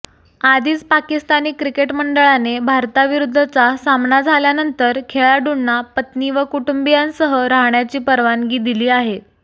आधीच पाकिस्तानी क्रिकेट मंडळाने भारताविरुद्धचा सामना झाल्यानंतर खेळाडूंना पत्नी व कुटुंबीयांसह राहण्याची परवानगी दिली आहे